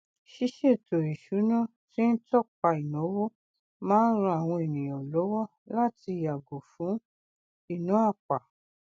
ṣíṣètò ìsúná tí ń tọpa ináwó ma ńran àwọn ènìyàn lọwọ láti yàgò fún ìná àpà